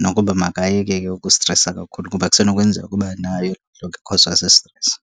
nokuba makayeke ke ukustresa kakhulu kuba kusenokwenzeka uba nayo ikhozwa sistresi.